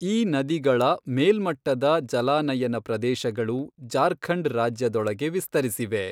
ಈ ನದಿಗಳ ಮೇಲ್ಮಟ್ಟದ ಜಲಾನಯನ ಪ್ರದೇಶಗಳು ಜಾರ್ಖಂಡ್ ರಾಜ್ಯದೊಳಗೆ ವಿಸ್ತರಿಸಿವೆ.